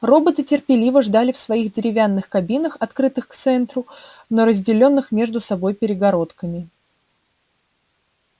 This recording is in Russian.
роботы терпеливо ждали в своих деревянных кабинах открытых к центру но разделённых между собой перегородками